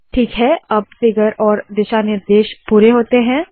ठीक है अब फिगर और दिशा निर्देश पुरे होते है